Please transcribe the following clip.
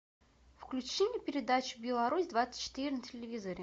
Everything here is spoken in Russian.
включи мне передачу беларусь двадцать четыре на телевизоре